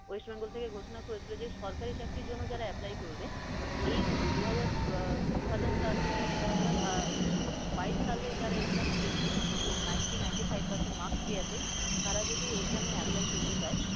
west bengal থেকে ঘোষণা করেছিল যে সরকারি চাকরির জন্য যারা apply করবে, এই দু হাজার আহ দু হাজার সালের দু হাজার বাইশ সালে যারা exam দিয়েছে এবং ninety ninety five percent marks পেয়েছে। তারা যদি exam এ apply করতে চায়